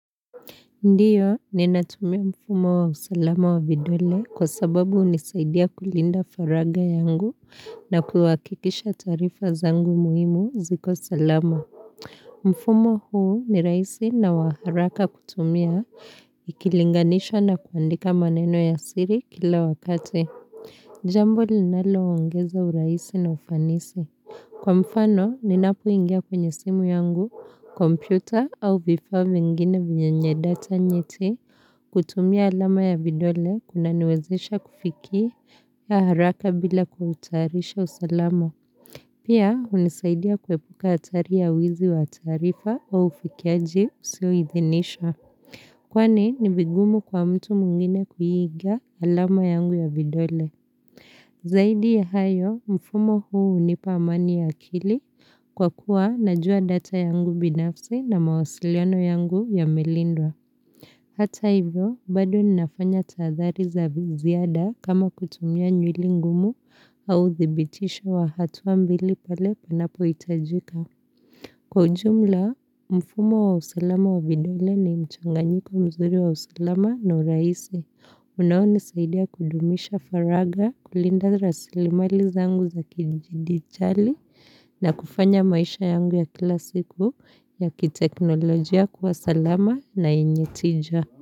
Ndiyo, ninatumia mfumo wa usalama wa vidole kwa sababu hunisaidia kulinda faragha yangu na kuhakikisha taarifa zangu muhimu ziko salama. Mfumo huu ni rahisi na wa haraka kutumia, ikilinganishwa na kuandika maneno ya siri kila wakati. Jambo linalo ongeza urahisi na ufanisi. Kwa mfano, ninapoingia kwenye simu yangu, kompyuta au vifaa vingine vyenye data nyeti kutumia alama ya vidole kunaniwezesha kufikia haraka bila kuhatarisha usalama. Pia, hunisaidia kuepuka hatari ya wizi wa taarifa au ufikiaji usio idhinishwa. Kwani, ni vigumu kwa mtu mwingine kuiga alama yangu ya vidole. Zaidi ya hayo, mfumo huu hunipa amani ya akili kwa kuwa najua data yangu binafsi na mawasiliano yangu yamelindwa. Hata hivyo, bado ninafanya tahathari za ziada kama kutumia nywili ngumu au thibitisho wa hatua mbili pale panapo hitajika. Kwa ujumla, mfumo wa usalama wa vidole ni mchanganyiko mzuri wa usalama na urahisi. Unao nisaidia kudumisha faragha kulinda rasilimali zangu za kidijitali na kufanya maisha yangu ya kila siku ya kiteknolojia kuwa salama na yenye tija.